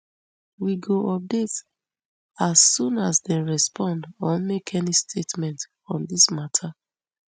we go update as soon as dem respond or make any statement on dis mata